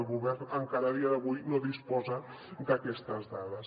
el govern encara a dia d’avui no disposa d’aquestes dades